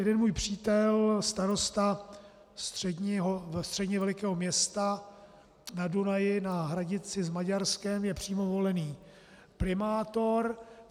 Jeden můj přítel, starosta středně velkého města na Dunaji, na hranici s Maďarskem, je přímo volený primátor.